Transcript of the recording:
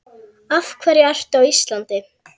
Af hverju ertu á Íslandi?